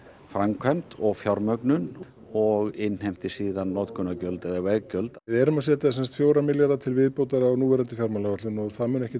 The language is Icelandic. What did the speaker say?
framkvæmd og fjármögnun og innheimti síðan notendagjöld eða veggjöld við erum að setja fjóra milljarða til viðbótar á núverandi fjármálaáætlun og það mun ekkert